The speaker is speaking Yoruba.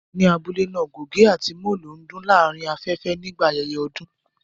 Ní abule náà, gògé àti molo ń dún láàárín afẹ́fẹ́ nígbà ayẹyẹ ọdún